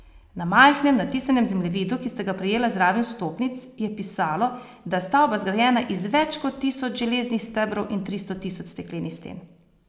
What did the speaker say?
Na majhnem natisnjenem zemljevidu, ki sta ga prejela zraven vstopnic, je pisalo, da je stavba zgrajena iz več kot tisoč železnih stebrov in tristo tisoč steklenih sten.